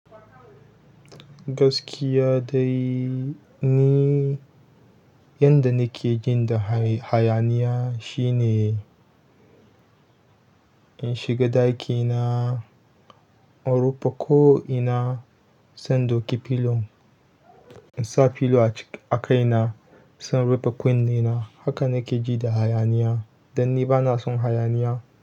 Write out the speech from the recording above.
Gaskiya dai ni, yanda nake jin da hayaniya shine in shiga ɗakina, in rufe ko'ina, sai in ɗauki pillow, in sa pillow a kaina, zan rufe kunne na. Haka nake ji da hayaniya dan ni bana son hayaniya.